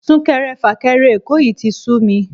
Sún-kẹrẹ-fà-kẹrẹ Èkó yìí tí sú mi